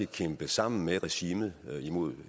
at kæmpe sammen med regimet imod